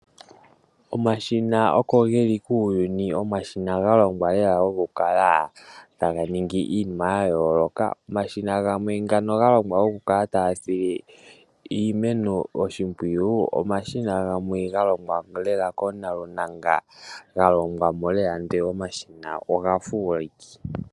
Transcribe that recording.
Omashina oko geli kuuyuni, Omashina galongwa lela okukala taga ningi iinima ya yooloka. Omashina gamwe ngano galongwa okukala taga sile iimeno oshimpwiyu, omashina gamwe galongwa lela koonalunanga, galongwa mo lela ndele omashina omafuuliki.